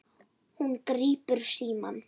Hún grípur símann.